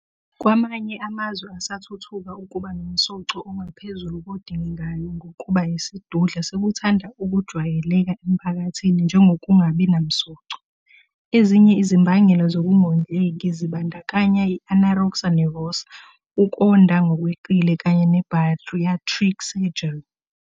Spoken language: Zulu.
Kwamanye amazwe asathuthuka ukuba nomsoco ongaphezulu kodingekayo ngokuba yisidudla sekuthanda ukujwayeleka emphakathini njengokungabi namsoco. Ezinye izimbangela zokungondleki zibandakanya i-anorexia nervosa, ukonda ngokweqile, kanye ne-bariatric surgery.